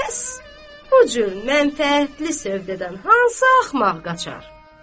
Həs bu cür mənfəətli sövdədən hansı axmaq qaçar?